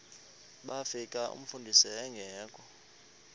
bafika umfundisi engekho